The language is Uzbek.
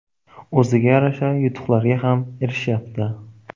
O‘ziga yarasha yutuqlarga ham erishyapti.